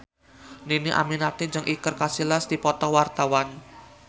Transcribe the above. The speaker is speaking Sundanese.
Dhini Aminarti jeung Iker Casillas keur dipoto ku wartawan